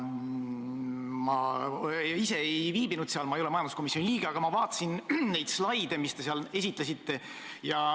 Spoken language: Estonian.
Ma ise seal ei viibinud, ma ei ole majanduskomisjoni liige, aga ma vaatasin neid slaide, mida te seal esitlesite.